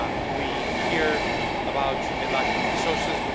We hear about a lack of resources.